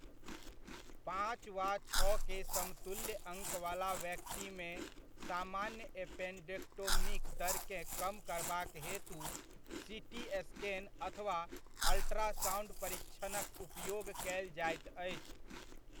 पॉंच वा छओ के समतुल्य अङ्कवला व्यक्तिमे सामान्य एपेंडेक्टोमीक दरकेँ कम करबाक हेतु सीटी स्कैन अथवा अल्ट्रासाउंड परिक्षणक उपयोग कयल जाइत अछि।